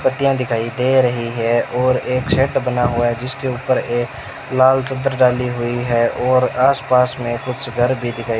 पत्तियां दिखाई दे रहीं हैं और एक शेड बना हुआ है जिसके ऊपर एक लाल चद्दर डाली हुई हैं और आस पास में कुछ घर भीं दिखाई --